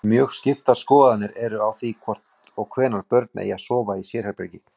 Þar eru notuð tvö tákn, langt strik og stutt strik.